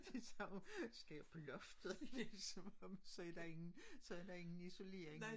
De sagde skal jeg på loftet det som om så der ingen så der ingen isolering